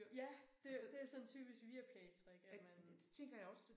Ja det det er sådan et typisk Viaplaytrick at man